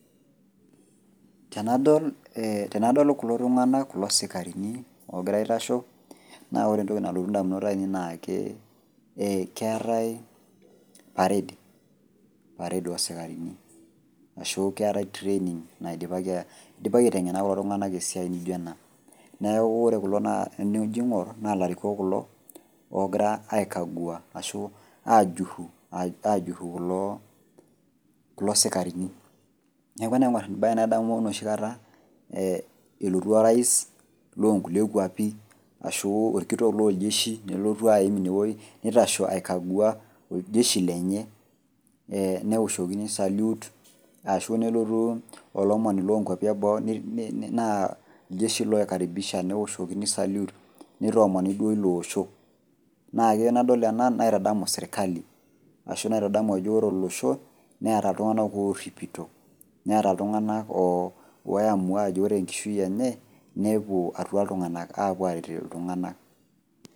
Tenadol ee tenadol kulo tung'ana, kulo sikaarini logira aitasho naa ore entoki nalotu indamunot ainei naakee keetai parade, parade osikaarini. Ashu keetai training naidipaki aiteng'ena kulo tung'ana esiai nijo ena. Neaku ore kulo naa enijo ing'orr naa larikok kulo oogira aikagua ashu aajurru, ajurru kuloo kulo sikaarini. Neaku enaing'orr enabaye nadamu noshikata ee elotu orais loonkulie kuapi ashuu olkitok looljeshi nelotu aaim inewuei neitasho aikagua oljeshi lenye ee neoshokini salute ashu nelotu olomoni lonkuapi e boo naa iljeshi loikaribisha neoshokini salute neitoomoni duo iloosho. Naake enadol ena naitadamu sirkali ashu naitadamu ajo ore olosho neata iltung'ana oorripito , neata iltung'ana oamua ajo ore enkishui enye nepuo atua iltung'ana apuo aret iltung'ana.